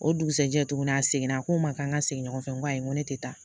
O dugusɛjɛ tuguni a seginna a ko n ma k'an ka segin ɲɔgɔn fɛ n ko ayi n ko ne tɛ taa